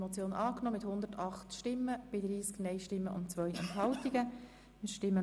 Sie haben die Motion angenommen.